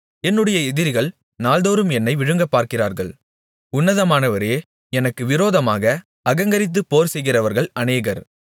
என்னுடைய எதிரிகள் நாள்தோறும் என்னை விழுங்கப்பார்க்கிறார்கள் உன்னதமானவரே எனக்கு விரோதமாக அகங்கரித்துப் போர்செய்கிறவர்கள் அநேகர்